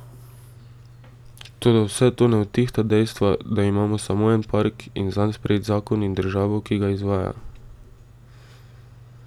Toda vse to ne odtehta dejstva, da imamo samo en park in zanj sprejet zakon in državo, ki ga izvaja.